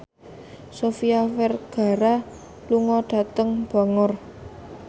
Sofia Vergara lunga dhateng Bangor